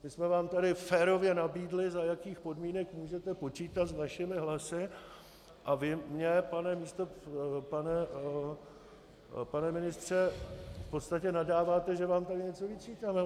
My jsme vám tady férově nabídli, za jakých podmínek můžete počítat s našimi hlasy, a vy mně, pane ministře, v podstatě nadáváte, že vám tady něco vyčítám.